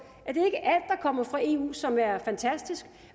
at kommer fra eu som er fantastisk